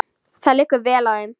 Það liggur vel á þeim.